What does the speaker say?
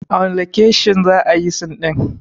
A wanne lokeshin za ayi sin ɗin?